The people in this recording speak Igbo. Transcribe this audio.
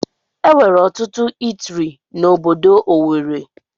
Enwere ọtụtụ itiri na ọbọdọ Owerri.